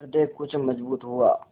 हृदय कुछ मजबूत हुआ